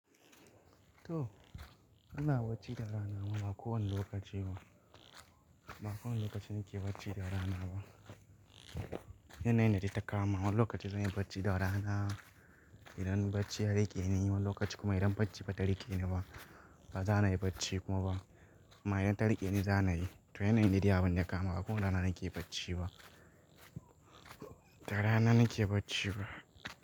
To, ana bacci da rana ma, ba kowane lokaci ba. Ba kowane lokaci nake bacci da rana ba. Yanayin dade ta ka kama. Wani lokaci zan yi bacci da rana idan bacci ya rike ni, wani lokaci kuma idan bacci ba ta rike ni ba. Ba zan yi bacci kuma ba ma idan ta rike ni, zan yi. To yanayin dade abi ya kama. Ba kowane rana nake bacci ba. Da rana nake bacci ba.